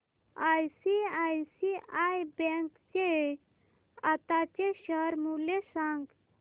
ICICI bank चे आताचे share मूल्य सांगा